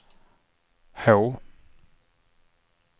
H